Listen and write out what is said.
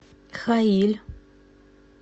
хаиль